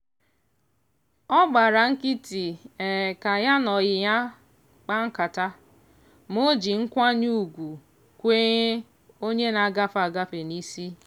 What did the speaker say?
ọ gbara nkịtị ka ya na ọyị ya kpaa nkata ma ọ ji nkwanye ugwu kwenye onye na-agafe agafe n'isi